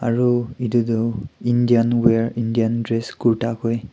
aru edu tu Indian wear Indian dress kurta moi.